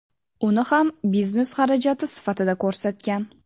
uni ham biznes xarajati sifatida ko‘rsatgan.